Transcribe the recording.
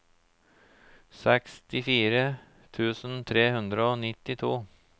sekstifire tusen tre hundre og nittito